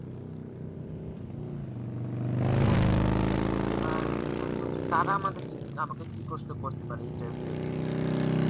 জি আপু এবার প্রশ্ন হচ্ছে তারা আমাকে কি প্রশ্ন করতে পারে Interview এর ক্ষেত্রে?